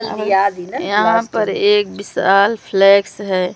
यहां पर एक बिसाल फ्लेक्स है।